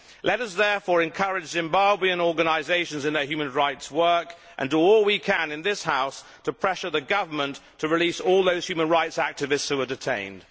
Let us therefore encourage Zimbabwean organisations in their human rights work and do all we can in this House to pressure the government to release all those human rights activists who are detained.